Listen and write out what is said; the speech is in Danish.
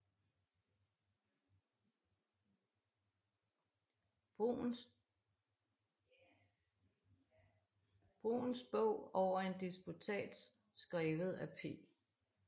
Bruns dog over en disputats skrevet af P